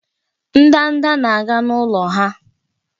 Ndanda na-aga n'ụlọ ha